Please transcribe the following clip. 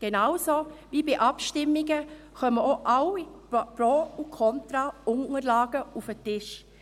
Genauso kommen auch bei Abstimmungen sämtliche Pro- und Kontraunterlagen auf den Tisch.